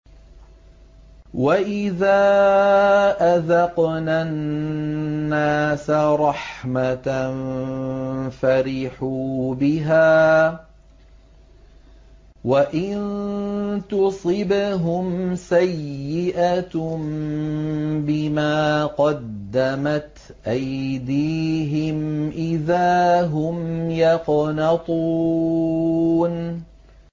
وَإِذَا أَذَقْنَا النَّاسَ رَحْمَةً فَرِحُوا بِهَا ۖ وَإِن تُصِبْهُمْ سَيِّئَةٌ بِمَا قَدَّمَتْ أَيْدِيهِمْ إِذَا هُمْ يَقْنَطُونَ